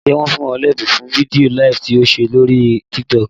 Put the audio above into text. Ǹjẹ́ wọn fún ọ lẹ́bùn fún fídíò LIVE tí o ṣe lóríí TikTok?